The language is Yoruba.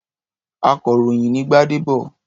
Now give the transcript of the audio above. Akọ̀ròyìn ni Gbádébọ̀.